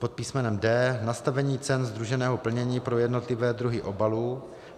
Pod písm. d) nastavení cen sdruženého plnění pro jednotlivé druhy obalů.